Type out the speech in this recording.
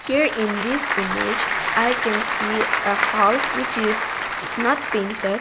here in this image i can see a house which is nothing that--